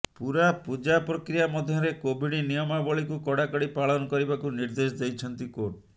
ପୂରା ପୂଜା ପ୍ରକ୍ରିୟା ମଧ୍ୟରେ କୋଭିଡ୍ ନିୟମାବଳିକୁ କଡ଼ାକଡ଼ି ପାଳନ କରିବାକୁ ନିର୍ଦ୍ଦେଶ ଦେଇଛନ୍ତି କୋର୍ଟ